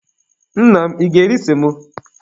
Nna m, ị ga-eri semo?